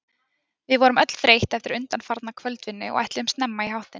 Við vorum öll þreytt eftir undanfarna kvöldvinnu og ætluðum snemma í háttinn.